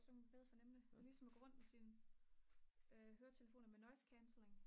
så kan man bedre fornemme det det er ligesom at gå rundt med sine høretelefoner med noise cancelling